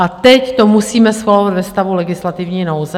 A teď to musíme schvalovat ve stavu legislativní nouze?